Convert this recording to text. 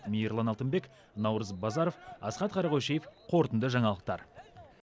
мейірлан алтынбек наурыз базаров асхат қарақойшиев қорытынды жаңалықтар